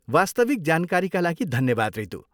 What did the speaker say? वास्तविक जानकारीका लागि धन्यवाद रितू।